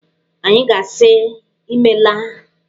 Anyị ga-asị Imeela.